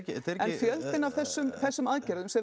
fjöldinn af þessum þessum aðgerðum sem